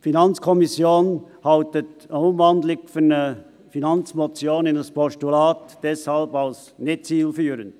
Die FiKo hält eine Umwandlung einer Finanzmotion in ein Postulat deshalb als nicht zielführend.